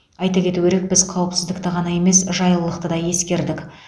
айта кету керек біз қауіпсіздікті ғана емес жайлылықты да ескердік